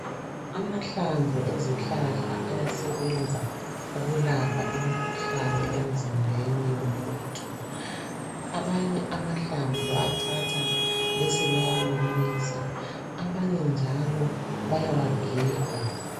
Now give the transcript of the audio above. amahlamvu wezihlahla ayasebenza ukulapha imikhuhlane emizimbeni womuntu abanye amahlamvu bayawathatha besebewa womisa abanye njalo bayawa giga